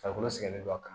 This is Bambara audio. Farikolo sɛgɛnnen don a kan